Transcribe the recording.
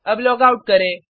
अब लॉगआउट करें